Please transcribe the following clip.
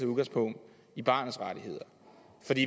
udgangspunkt i barnets rettigheder